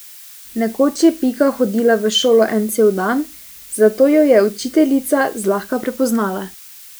Nekoč je Pika hodila v šolo en cel dan, zato jo je učiteljica zlahka prepoznala.